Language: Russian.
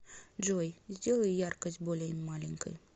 джой сделай яркость более маленькой